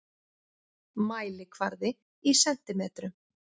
Mælikvarði í sentimetrum.